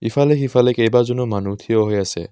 ইফালে সিফালে কেইবাজনো মানুহ থিয় হৈ আছে।